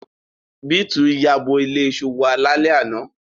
Beeti yabo ile iṣu wa lale ana